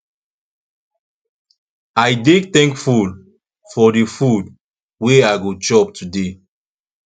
i dey thankful for di food wey i go chop today